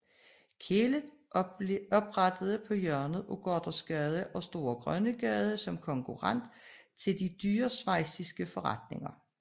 Kehlet oprettede på hjørnet af Gothersgade og Store Grønnegade som konkurrent til de dyre schweiziske forretninger